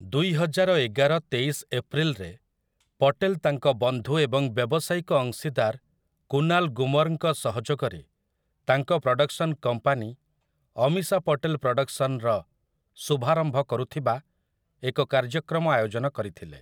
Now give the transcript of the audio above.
ଦୁଇହଜାର ଏଗାର ତେଇଶ ଏପ୍ରିଲରେ, ପଟେଲ୍ ତାଙ୍କ ବନ୍ଧୁ ଏବଂ ବ୍ୟବସାୟିକ ଅଂଶୀଦାର କୁନାଲ୍ ଗୁମର୍‌ଙ୍କ ସହଯୋଗରେ ତାଙ୍କ ପ୍ରଡକ୍ସନ୍ କମ୍ପାନୀ ଅମୀଶା ପଟେଲ୍ ପ୍ରଡକ୍ସନ୍‌ର ଶୁଭାରମ୍ଭ କରୁଥିବା ଏକ କାର୍ଯ୍ୟକ୍ରମ ଆୟୋଜନ କରିଥିଲେ ।